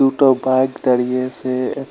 দুটো বাইক দাঁড়িয়ে আসে এহ।